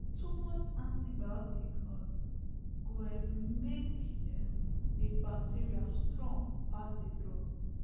too much antibiotic um go um make um the bacteria strong pass the drug